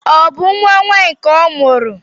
Ọ bụ nwa nwanyị ka ọ mụrụ?